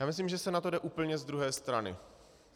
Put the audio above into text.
Já myslím, že se na to jde úplně z druhé strany.